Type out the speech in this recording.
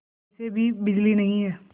वैसे भी बिजली नहीं है